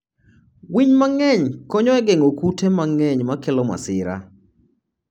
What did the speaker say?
winy mang'eny konyo e geng'o kute mang'eny makelo masira.